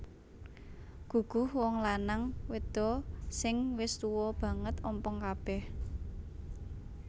Guguh Wong lanang wedho sing wis tuwa banget ompong kabeh